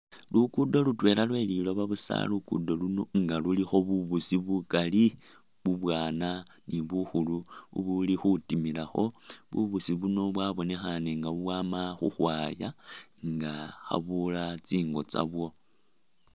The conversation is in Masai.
Lukudo lutwela lwelilooba busa lukudo luno nga lulikho bubusi bukali bubwaana ni bukhulu ubuli khutimilakho, bubusi buno bwa bonekhane nga bubwama khukhwaya nga khabula tsi ngo tsabwo